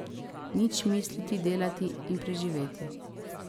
Nič misliti, delati in preživeti.